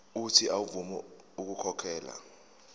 uuthi avume ukukhokhela